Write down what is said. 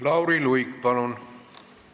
Lauri Luik, palun!